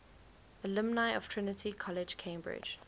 alumni of trinity college cambridge